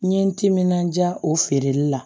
N ye n timinandiya o feereli la